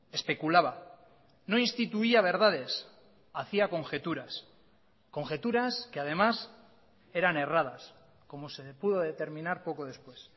especulaba no instituía verdades hacía conjeturas conjeturas que además eran erradas como se pudo determinar poco después